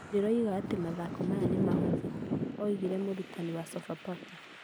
Ndiroiga atĩ mathako maya nĩ mahũthũ,' oigire mũrutani wa Sofapaka.